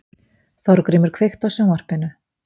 Þórgrímur, kveiktu á sjónvarpinu.